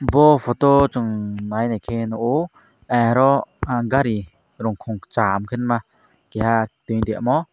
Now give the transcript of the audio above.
bo photo chung nai naike nugo aro gari ru kum Cham kenma keha tui tai omo.